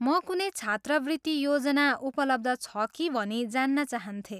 म कुनै छात्रवृत्ति योजना उपलब्ध छ कि भनी जान्न चाहन्थेँ।